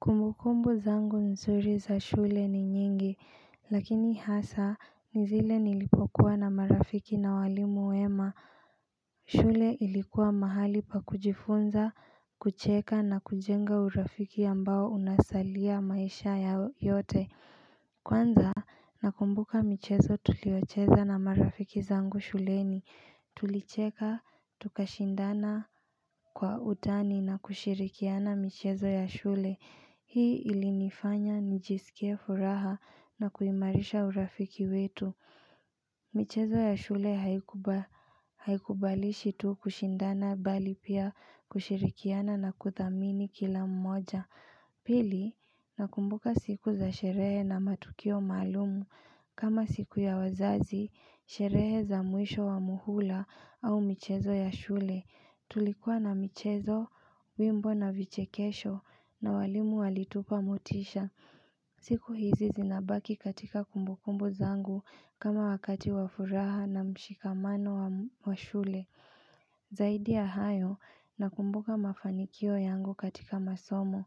Kumbukumbu zangu nzuri za shule ni nyingi lakini hasa ni zile nilipokuwa na marafiki na walimu wema shule ilikuwa mahali pa kujifunza kucheka na kujenga urafiki ambao unasalia maisha ya yote Kwanza nakumbuka michezo tuliocheza na marafiki zangu shuleni Tulicheka tukashindana kwa utani na kushirikiana michezo ya shule Hii ilinifanya njisikie furaha na kuimarisha urafiki wetu michezo ya shule haikubalishi tu kushindana bali pia kushirikiana na kuthamini kila mmoja Pili, nakumbuka siku za sherehe na matukio malumu. Kama siku ya wazazi, sherehe za muisho wa muhula au mchezo ya shule. Tulikuwa na mchezo, wimbo na vichekesho na walimu walitupa mutisha. Siku hizi zinabaki katika kumbukumbu zangu kama wakati wafuraha na mshikamano wa shule. Zaidi ya hayo nakumbuka mafanikio yangu katika masomo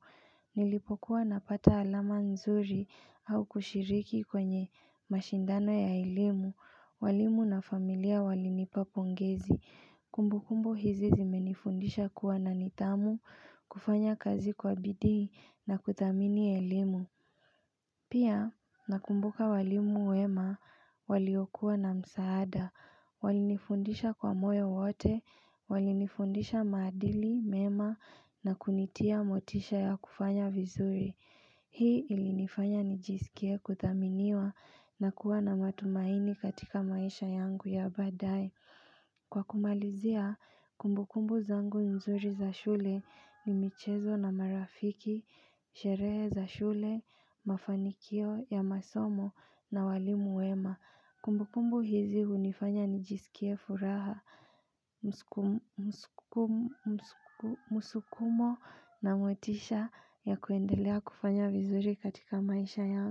Nilipokuwa napata alama nzuri au kushiriki kwenye mashindano ya eilimu walimu na familia walinipa pongezi Kumbu kumbu hizi zimenifundisha kuwa na nitamu kufanya kazi kwa bidii na kutamini elimu Pia nakumbuka walimu wema waliokuwa na msaada Walinifundisha kwa moyo wote, walinifundisha madili, mema na kunitia motisha ya kufanya vizuri Hii ilinifanya nijisikie kuthaminiwa na kuwa na matumaini katika maisha yangu ya badae Kwa kumalizia, kumbukumbu zangu mzuri za shule ni michezo na marafiki, sheree za shule, mafanikio ya masomo na walimu wema Kumbukumbu hizi unifanya nijisikie furaha, musukumo na motisha ya kuendelea kufanya vizuri katika maisha ya.